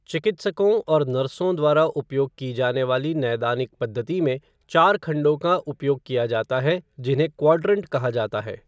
चिकित्सकों और नर्सों द्वारा उपयोग की जाने वाली नैदानिक पद्धति में चार खंडों का उपयोग किया जाता है जिन्हें क्वाड्रंट कहा जाता है।